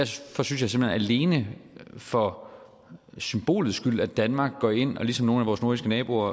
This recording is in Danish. alene for symbolets skyld er danmark går ind og ligesom nogle af vores nordiske naboer